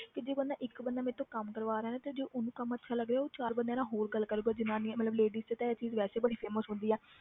ਕਿ ਜੇ ਬੰਦਾ ਇੱਕ ਬੰਦਾ ਮੇਰੇ ਤੋਂ ਕੰਮ ਕਰਵਾ ਰਿਹਾ ਨਾ ਤੇ ਜੇ ਉਹਨੂੰ ਕੰਮ ਅੱਛਾ ਲੱਗ ਰਿਹਾ ਉਹ ਚਾਰ ਬੰਦਿਆਂ ਨਾਲ ਹੋਰ ਗੱਲ ਕਰੇਗਾ ਜ਼ਨਾਨੀਆਂ ਮਤਲਬ ladies 'ਚ ਤਾਂ ਇਹ ਚੀਜ਼ ਵੈਸੇ ਬੜੀ famous ਹੁੰਦੀ ਆ